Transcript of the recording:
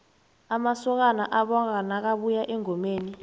amasokana abonga nakabuya engomeni